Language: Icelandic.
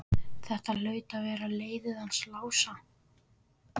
Þetta hlaut að vera leiðið hans Lása.